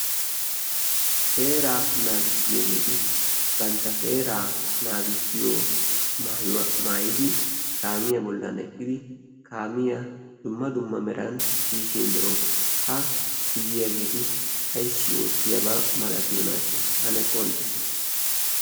seera naagissiyaageeti bantta seera naagissiyo maayuwa maayidi kaamiyaa bollan eqqidi kaamiyaa dumma dumma meran tiyishin be'oos ha tiyyiyaageeti ayssi oottiyaabaa malatiyonaasha ane qonccissite